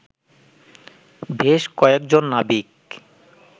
বেশ কয়েজন নাবিক